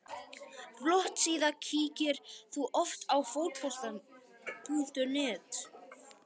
Flott síða Kíkir þú oft á Fótbolti.net?